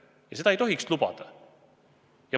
Ja seda ei tohiks lubada.